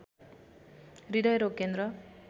हृदयरोग केन्द्र